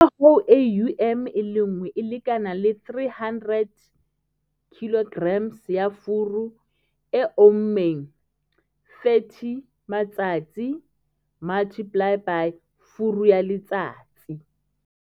Ka hoo, AUM e le nngwe e lekana le 300 kg ya furu e ommeng, 30 matsatsi x furu ya letsatsi.